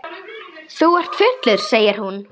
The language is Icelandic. Þú ert fullur, segir hún.